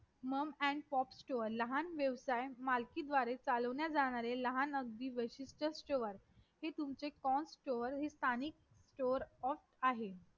mam and pop stores लहान व्यवसाय मालकी द्वारे चालण्या जाणारे लहान अगदी वैशिष्ठ स्टोर हे तुमचे constor स्थानिक stoer off आहे